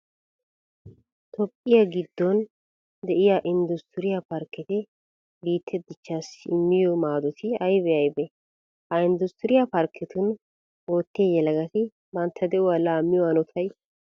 Toophphiyan giddon de'iya inddustturiya parkketi biittee dichchaassi immiyo maadoti aybee aybee? Ha inddustturiya parkketun oottiya yelagati bantta de'uwa laammiyo hanotay ay malee?